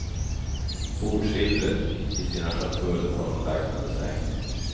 Bordssilvret i sina schatull har hon lagt under sängen.